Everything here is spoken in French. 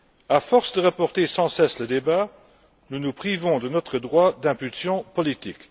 À force de reporter sans cesse le débat, nous nous privons de notre droit d'impulsion politique.